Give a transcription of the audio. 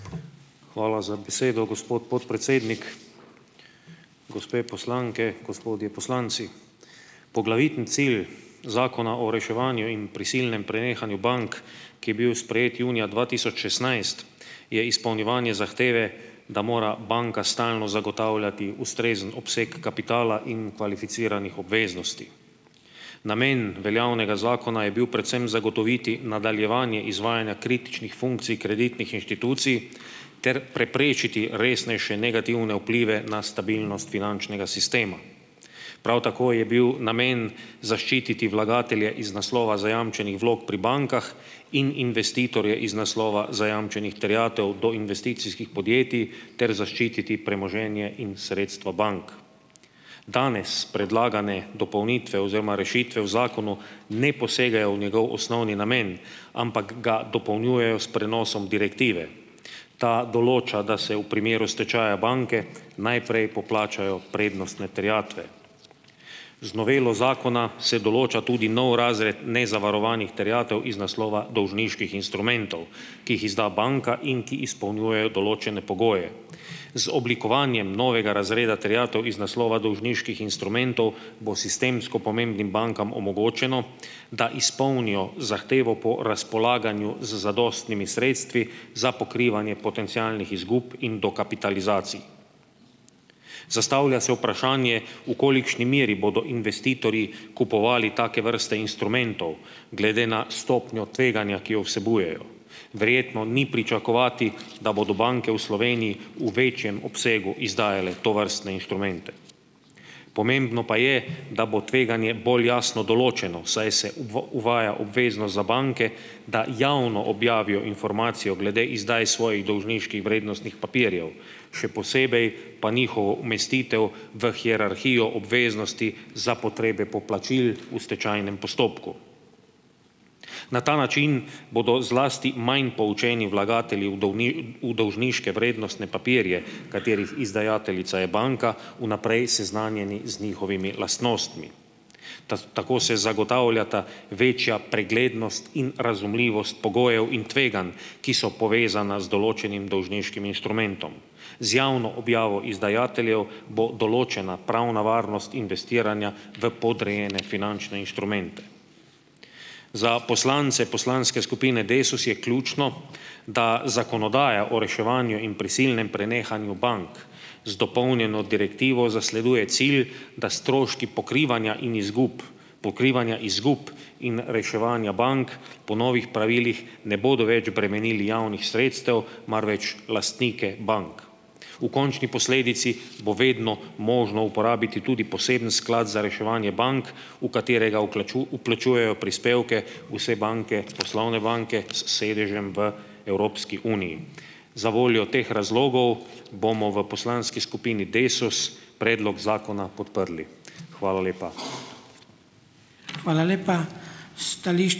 Hvala za besedo, gospod podpredsednik. Gospe poslanke, gospodje poslanci! Poglavitni cilj Zakona o reševanju in prisilnem prenehanju bank, ki je bil sprejet junija dva tisoč šestnajst, je izpolnjevanje zahteve, da mora banka stalno zagotavljati ustrezen obseg kapitala in kvalificiranih obveznosti. Namen veljavnega zakona je bil predvsem zagotoviti nadaljevanje izvajanja kritičnih funkcij kreditnih inštitucij ter preprečiti resnejše negativne vplive na stabilnost finančnega sistema. Prav tako je bil namen zaščititi vlagatelje iz naslova zajamčenih vlog pri bankah in investitorje iz naslova zajamčenih terjatev do investicijskih podjetij ter zaščititi premoženje in sredstva bank. Danes predlagane dopolnitve oziroma rešitve v zakonu ne posegajo v njegov osnovni namen, ampak ga dopolnjujejo s prenosom direktive. Ta določa, da se v primeru stečaja banke najprej poplačajo prednostne terjatve. Z novelo zakona se določa tudi nov razred nezavarovanih terjatev iz naslova dolžniških instrumentov, ki jih izda banka in ki izpolnjujejo določene pogoje. Z oblikovanjem novega razreda terjatev iz naslova dolžniških instrumentov bo sistemsko pomembnim bankam omogočeno, da izpolnijo zahtevo po razpolaganju z zadostnimi sredstvi za pokrivanje potencialnih izgub in dokapitalizacij. Zastavlja se vprašanje, v kolikšni meri bodo investitorji kupovali take vrste instrumentov, glede na stopnjo tveganja, ki jo vsebujejo. Verjetno ni pričakovati, da bodo banke v Sloveniji v večjem obsegu izdajale tovrstne inštrumente. Pomembno pa je, da bo tveganje bolj jasno določeno, saj se uvaja obveznost za banke, da javno objavijo informacijo glede izdaje svojih dolžniških vrednostnih papirjev, še posebej pa njihovo umestitev v hierarhijo obveznosti za potrebe poplačil v stečajnem postopku. Na ta način bodo zlasti manj poučeni vlagatelji v v dolžniške vrednostne papirje, katerih izdajateljica je banka, vnaprej seznanjeni z njihovimi lastnostmi. tako se zagotavljata večja preglednost in razumljivost pogojev in tveganj, ki so povezana z določenim dolžniškim inštrumentom. Z javno objavo izdajateljev bo določena pravna varnost investiranja v podrejene finančne inštrumente. Za poslance poslanske skupine Desus je ključno, da zakonodaja o reševanju in prisilnem prenehanju bank z dopolnjeno direktivo zasleduje cilj, da stroški pokrivanja in izgub pokrivanja izgub in reševanja bank po novih pravilih ne bodo več bremenili javnih sredstev, marveč lastnike bank. V končni posledici bo vedno možno uporabiti tudi poseben sklad za reševanje bank, v katerega vplačujejo prispevke vse banke, poslovne banke s sedežem v Evropski uniji. Za voljo teh razlogov bomo v poslanski skupini Desus predlog zakona podprli. Hvala lepa.